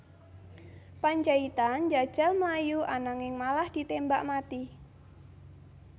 Pandjaitan njajal mlayu ananging malah ditémbak mati